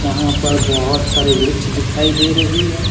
यहां पर बहोत सारे वृक्ष दिखाई दे रही है।